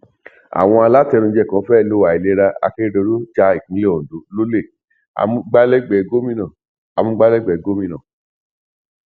àwọn alátẹnuje kan fẹ lọ àìlera akérédọlù ja ìpínlẹ ondo lọlẹ amúgbálégbé gómìnà amúgbálégbé gómìnà